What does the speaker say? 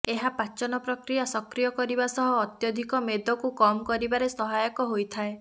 ଏହା ପାଚନ ପ୍ରକ୍ରିୟା ସକ୍ରିୟ କରିବା ସହ ଅତ୍ୟଧିକ ମେଦକୁ କମ୍ କରିବାରେ ସହାୟକ ହୋଇଥାଏ